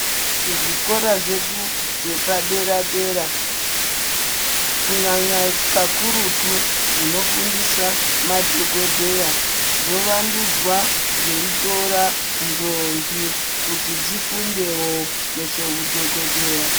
Zvikora zvedu zvepadera dera kunyanya kakurutu zvinofundisa madhokodheya zvovandudzwa zveitora ndombi kuti dzifundewo nezveudhokodheya.